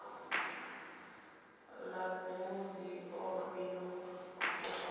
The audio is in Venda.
ḓadzi mudzio b u kokota